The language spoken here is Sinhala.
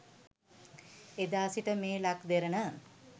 එදා සිට මේ ලක් දෙරණ